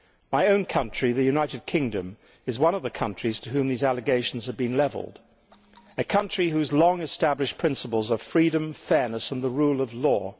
My own country, the United Kingdom, is one of the countries at whom these allegations are being levelled, a country that has long established principles of freedom, fairness and the rule of law.